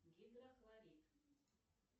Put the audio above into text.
гидрохлорид